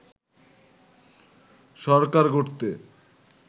সরকার গড়তে